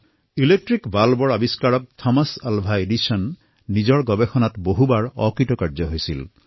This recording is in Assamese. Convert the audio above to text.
লাইট বাল্বৰ আৱিষ্কাৰ কৰা থমাছ আলভা এডিছনে বহুবাৰ অসফল হৈছিল